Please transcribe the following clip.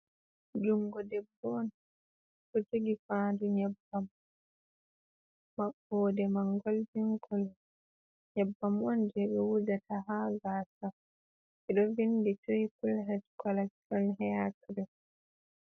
Jungo debbo on ɗo jogi fandu nyebbam mabbode man goldin kolo nyebbam on je ɓe wujata ha gasa je ɗo vindi triplhed collection heyakirim.